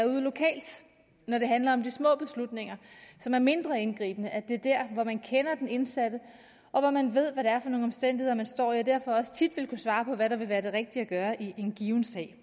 ude lokalt når det handler om de små beslutninger som er mindre indgribende altså der hvor man kender den indsatte og hvor man ved hvad det er for nogle omstændigheder man står i og derfor også tit vil kunne svare på hvad der vil være det rigtige at gøre i en given sag